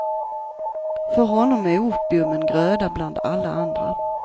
För honom är opium en gröda bland alla andra.